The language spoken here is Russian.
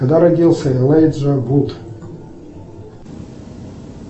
когда родился элайджа вуд